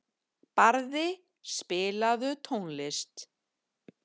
Barði, spilaðu tónlist.